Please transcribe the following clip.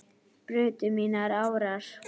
brutu mínar árar